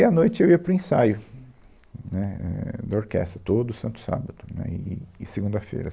E, à noite, eu ia para o ensaio, né, éh, da orquestra, todo santo sábado, né, e, e segunda-feira.